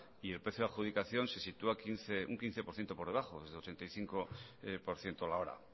y el precio de adjudicación se sitúa un quince por ciento por debajo es de ochenta y cinco por ciento la hora